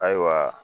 Ayiwa